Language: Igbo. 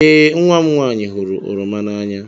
Ee, nwa m nwanyị hụrụ oroma n'anya.